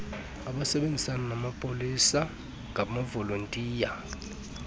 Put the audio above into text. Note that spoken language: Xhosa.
abasebenzisana namapolisa ngamavolontiya